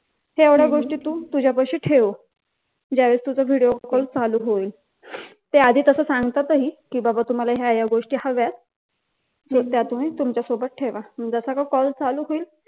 हे एवढ्या गोष्टी तु तुझ्यापाशी ठेव ज्यावेळेस तुझा व्हिडिओ कॉल चालू होईल त्याआधी तस सांगतात ही की बाबा तुम्हाला ह्या ह्या गोष्टी हव्यात मग त्या तुम्ही तुमच्या सोबत ठेवा. जसा का कॉल चालू होईल